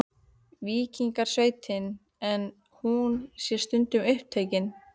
Víkingasveitin, en hún sé stundum upptekin.